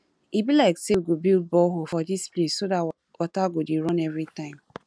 e be like say we go build borehole for dis place so dat water go dey run everytime